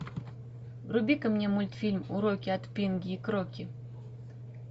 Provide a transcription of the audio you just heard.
вруби ка мне мультфильм уроки от пинги и кроки